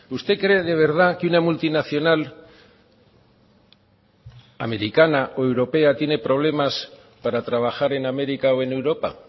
usted cree de verdad que una multinacional americana o europea tiene problemas para trabajar en américa o en europa